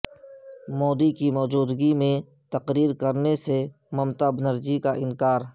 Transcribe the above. مودی کی موجودگی میں تقریر کرنے سے ممتابنرجی کا انکار